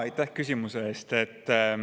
Aitäh küsimuse eest!